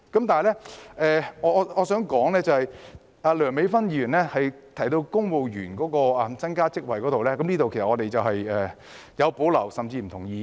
但是，我想說的是，梁美芬議員的修正案建議增加公務員職位，對於這方面我們有保留，甚至不同意。